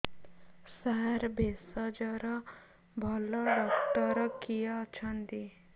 ସାର ଭେଷଜର ଭଲ ଡକ୍ଟର କିଏ ଅଛନ୍ତି